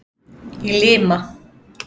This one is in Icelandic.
Í Lima